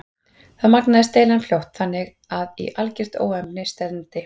Þá magnaðist deilan fljótt þannig að í algert óefni stefndi.